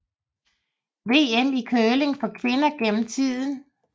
VM i curling for kvinder gennem tiden